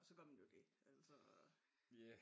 Så går den jo galt altså